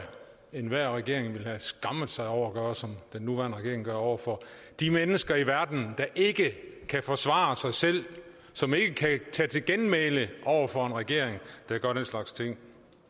enhver regering ville have skammet sig over at gøre som den nuværende regering gør over for de mennesker i verden der ikke kan forsvare sig selv som ikke kan tage til genmæle over for en regering der gør den slags ting